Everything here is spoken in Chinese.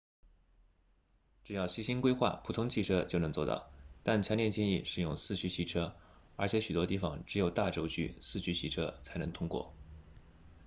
只要细心规划普通汽车就能做到但强烈建议使用四驱汽车而且许多地方只有大轴距四驱汽车才能通过